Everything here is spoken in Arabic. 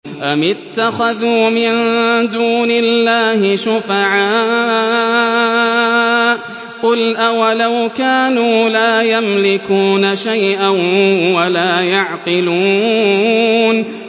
أَمِ اتَّخَذُوا مِن دُونِ اللَّهِ شُفَعَاءَ ۚ قُلْ أَوَلَوْ كَانُوا لَا يَمْلِكُونَ شَيْئًا وَلَا يَعْقِلُونَ